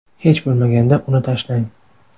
Hech bo‘lmaganda uni tashlang.